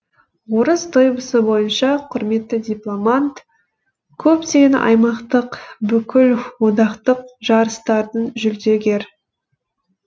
орыс дойбысы бойынша құрметті дипломант көптеген аймақтық бүкілодақтық жарыстардың жүлдегер